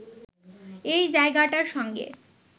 এই জায়গাটার সঙ্গে